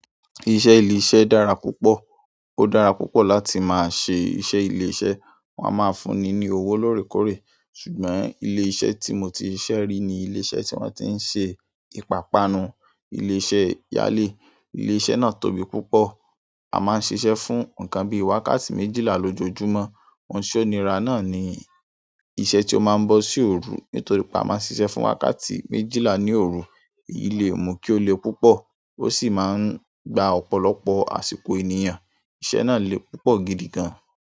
Iṣẹ́ ilé-iṣẹ́ dára púpọ̀. Ó dára púpọ̀ láti máa ṣe iṣẹ́ ilé-iṣẹ́. Wọn a máa fún ni ní owó lóòrèkóòrè. Ṣùgbọ́n ilé iṣẹ́ tí mo ti ṣiṣẹ́ rí ni ilé iṣẹ́ tí wọ́n tí ń ṣe ìpápánu, ilé iṣẹ́ yálè. Ilé iṣẹ́ náà tóbi púpọ̀. A máa ń ṣiṣẹ́ fún ǹkan bíi wákàtí méjìlá lójoojúmọ́. Ohun ìṣónira náà ni iṣẹ́ tí ó máa ń bọ sí òru. Nítorí pé a máa ń ṣiṣẹ́ fún wákàtí méjìlá ní òru. Èyí le mú kí ó le púpọ̀ ó sì máa ń gba ọ̀pọ̀lọpọ̀ àsìkò ènìyàn. Iṣẹ́ náà le púpọ̀ gidi gan.